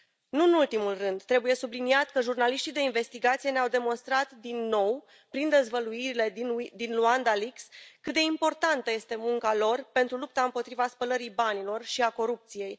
Nu în ultimul rând, trebuie subliniat că jurnaliștii de investigație ne au demonstrat din nou, prin dezvăluirile din Luanda Leaks, cât de importantă este munca lor pentru lupta împotriva spălării banilor și a corupției.